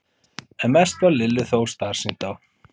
En mest varð Lillu þó starsýnt á